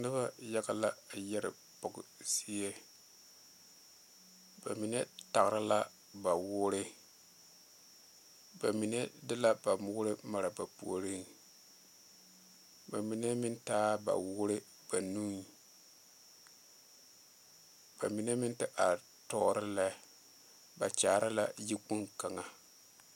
Noba yaga la a yɛre pɔge zie ba mine tagra la ba woore ba mine de la ba woore mare ba puoriŋ ba mine meŋ taaɛ ba woore ba nuŋ ba mine meŋ te are tɔɔre lɛ ba kyaare la yikpoŋ kaŋa.